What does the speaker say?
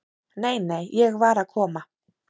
"""Nei, nei, ég var að koma."""